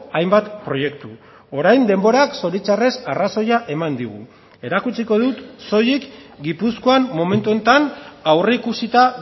hainbat proiektu orain denborak zoritxarrez arrazoia eman digu erakutsiko dut soilik gipuzkoan momentu honetan aurreikusita